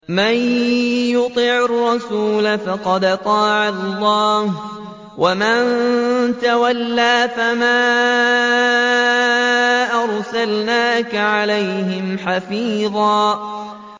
مَّن يُطِعِ الرَّسُولَ فَقَدْ أَطَاعَ اللَّهَ ۖ وَمَن تَوَلَّىٰ فَمَا أَرْسَلْنَاكَ عَلَيْهِمْ حَفِيظًا